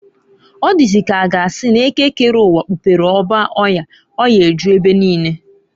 Ọ dịzị k'a ga asị n'Eke kere uwa, kpupelu ọba ọya, ọya eju ebe niine.